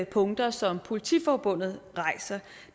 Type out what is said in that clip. punkter som politiforbundet rejser